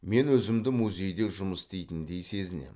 мен өзімді музейде жұмыс істейтіндей сезінемін